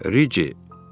Ric.